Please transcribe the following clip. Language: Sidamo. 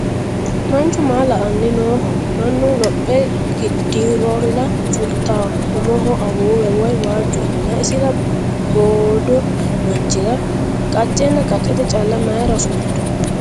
Manchu maa la"anni nooho? Mannu lophe geedhirolla fultawo umoho awuuwe woyi waajju umina isira boodo manchira qaccenna qaccete calla mayiira fultu?